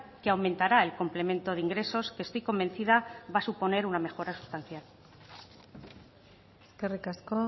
que aumentará el complemento de ingresos que estoy convencida va a suponer una mejora sustancial eskerrik asko